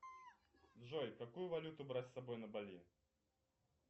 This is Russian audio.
джой какую валюту брать с собой на бали